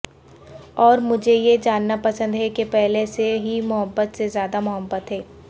اور مجھے یہ جاننا پسند ہے کہ پہلے سے ہی محبت سے زیادہ محبت ہے